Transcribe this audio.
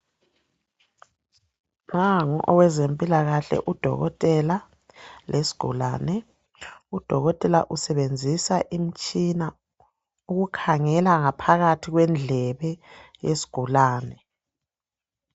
Nangu owezempilakahle udokotela lesgulane. Udokotela usebenzisa imtshina ukukhangela ngaphakathi kwendlebe yesgulane.